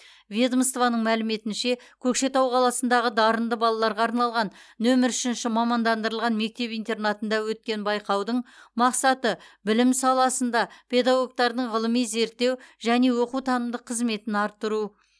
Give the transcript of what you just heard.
ведомствоның мәліметінше көкшетау қаласындағы дарынды балаларға арналған нөмір үшінші мамандандырылған мектеп интернатында өткен байқаудың мақсаты білім саласында педагогтардың ғылыми зерттеу және оқу танымдық қызметін арттыру